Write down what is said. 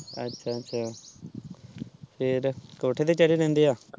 ਅੱਛਾ ਅੱਛਾ ਫੇਰ ਕੋਠੇਰ ਤੇ ਚੜੇ ਰਹਿੰਦੇ ਆ